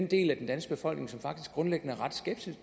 del af den danske befolkning som faktisk grundlæggende er ret